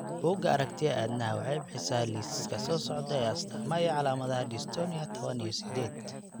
Bugga Aragtiyaha Aadanaha waxay bixisaa liiska soo socda ee astaamaha iyo calaamadaha Dystonia tawan iyo sidhed.